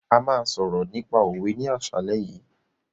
A máa sọ̀rọ̀ nípa òwe ní àsálẹ́ yìí.